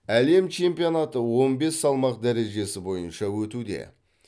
әлем чемпионаты он бес салмақ дәрежесі бойынша өтуде